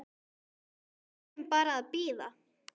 Við erum bara að bíða.